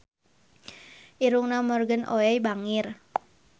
Irungna Morgan Oey bangir